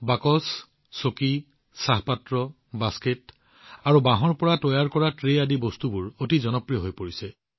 বাকচ চকী চাহপাত্ৰ বাস্কেট আৰু বাঁহেৰে তৈয়াৰ কৰা ট্ৰে আদি বস্তুবোৰ অতি জনপ্ৰিয় হৈ পৰিছে